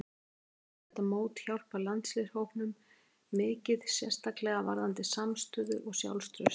Hún telur þetta mót hjálpa landsliðshópnum mikið, sérstaklega hvað varðar samstöðu og sjálfstraust.